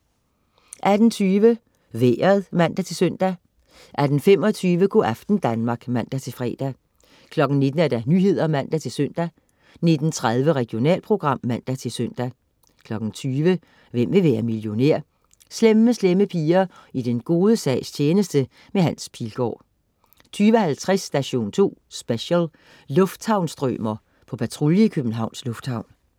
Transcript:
18.20 Vejret (man-søn) 18.25 Go' aften Danmark (man-fre) 19.00 Nyhederne (man-søn) 19.30 Regionalprogram (man-søn) 20.00 Hvem vil være millionær? Slemme Slemme Piger i den gode sags tjeneste. Hans Pilgaard 20.50 Station 2 Special: Lufthavns-strømer, på patrulje i Københavns Lufthavn